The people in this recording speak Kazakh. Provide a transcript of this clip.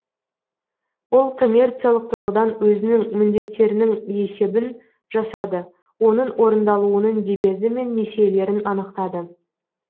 ол коммерциялық тұрғыдан өзінің міндеттерінің есебін жасады оның орындалуының дебеті мен несиелерін анықтады